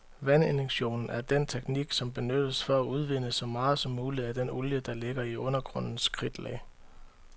Vandinjektion er den teknik, som benyttes for at udvinde så meget som muligt af den olie, der ligger i undergrundens kridtlag.